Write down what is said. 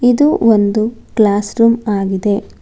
ಇದು ಒಂದು classroom ಆಗಿದೆ.